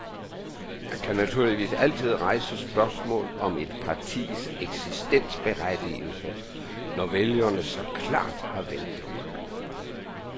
Man kan naturligvis altid rejse spørgsmål om et partis eksistensberettigelse, når vælgerne så klart har vendt det ryggen.